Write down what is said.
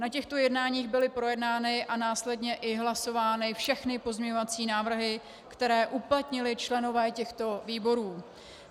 Na těchto jednáních byly projednány a následně i hlasovány všechny pozměňovací návrhy, které uplatnili členové těchto výborů.